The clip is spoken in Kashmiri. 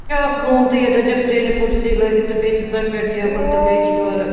اکھ روٗم تہٕ ییٚتٮ۪ن چھ کرٛہنہِ کُرسی لٲگِتھ تہٕ بیٚیہِ چھ سفیدٹیبل .تہٕ بیٚیہِ چھ یورٕ